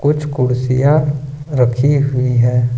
कुछ कुर्सियां रखी हुई है।